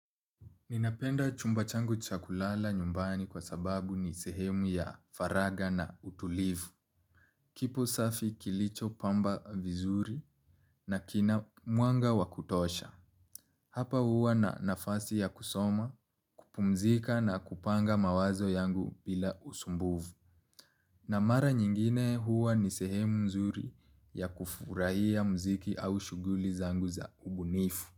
Ninapenda chumba changu cha kulala nyumbani kwa sababu ni sehemu ya faraga na utulivu. Kipo safi kilicho pamba vizuri na kina muanga wakutosha. Hapa huwa na nafasi ya kusoma, kupumzika na kupanga mawazo yangu bila usumbuvu. Na mara nyingine huwa ni sehemu mzuri ya kufurahia mziki au shuguli zangu za ubunifu.